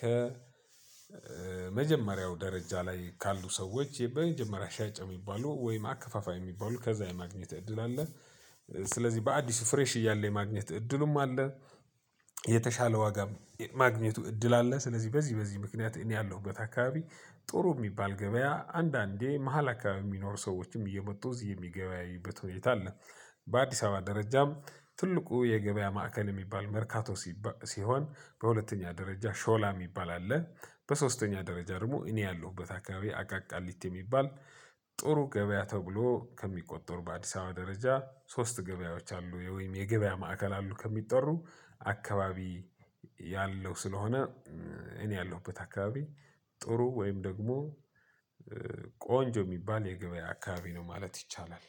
ከመጀመሪያው ደረጃ ላይ ካሉ ሰዎች የመጀመሪያ ሻጭ የሚባሉ ወይም አከፋፋይ የሚባሉ ከዛ የማግኘት እድል አለ። ስለዚህ በአዲሱ ፍሬሽ እያለ የማግኘት እድሉም አለ። የተሻለ ዋጋ ማግኘቱ እድል አለ። ስለዚህ በዚህ በዚህ ምክንያት እኔ ያለሁበት አካባቢ ጥሩ የሚባል ገበያ አንዳንዴ መሃል አካባቢ የሚኖሩ ሰዎችም እየመጡ እዚህ የሚገበያይበት ሁኔታ አለ። በአዲስ አበባ ደረጃም ትልቁ የገበያ ማዕከል የሚባል መርካቶ ሲባል ሲሆን በሁለተኛ ደረጃ ሾላ የሚባል አለ። በሶስተኛ ደረጃ ደግሞ እኔ ያለሁበት አካባቢ አቃቃሊት የሚባል። ጥሩ ገበያ ተብሎ ከሚቆጠሩ በአዲስ አበባ ደረጃ ሶስት ገበያዎች አሉ ወይም የገበያ ማዕከል አሉ ከሚጠሩ። አካባቢ ያለው ስለሆነ። እኔ ያለሁበት አካባቢ ጥሩ ወይም ደግሞ ቆንጆ የሚባል የገበያ አካባቢ ነው ማለት ይቻላል።